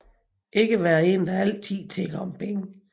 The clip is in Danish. Ikke være en der altid tigger om penge